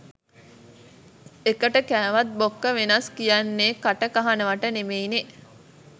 එකට කෑවත් බොක්ක වෙනස් කියන්නෙ කටකහනවට නෙමෙයිනේ